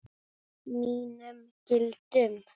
Mínum gildum.